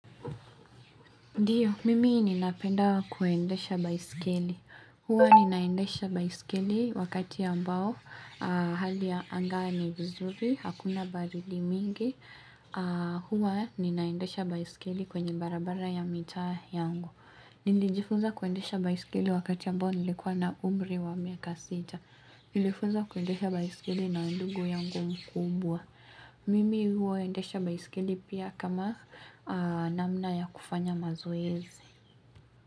Ndiyo, mimi ninapenda kuendesha baisikeli. Huwa ninaendesha baisikeli wakati ambao hali angani vizuri, hakuna barildi mingi. Huwa ninaendesha baisikeli kwenye barabara ya mitaa yangu. Niliijifuza kuendesha baisikeli wakati ambao nilikuwa na umri wa miaka sita. Nilifuza kuendesha baisikeli na ndugu yangu mkubwa. Mimi huwa ndesha baisikeli pia kama namna ya kufanya mazoezi.